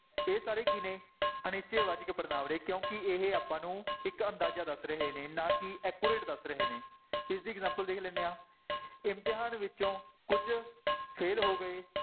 ਇਹ ਸਾਰੇ ਕੀ ਨੇ ਅਨਿਸ਼ਚੈ ਵਾਚਕ ਪੜ੍ਹਨਾਂਵ ਨੇ ਕਿਉਂਕਿ ਇਹ ਆਪਾਂ ਨੂੰ ਇੱਕ ਅੰਦਾਜ਼ਾ ਦੱਸ ਰਹੇ ਨੇ ਨਾ ਕਿ accurate ਦੱਸ ਰਹੇ ਨੇ, ਇਸਦੀ example ਦੇਖ ਲੈਂਦੇ ਹਾਂ, ਇਮਤਿਹਾਨ ਵਿੱਚੋਂ ਕੁੱਝ fail ਹੋ ਗਏ